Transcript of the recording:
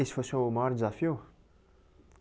Esse foi o seu maior desafio?